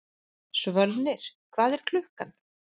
Svölnir, hvað er klukkan?